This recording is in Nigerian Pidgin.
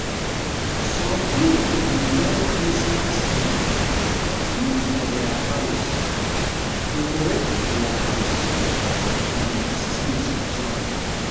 some pipo de buy christmas tree put for their house, decorate their house and street join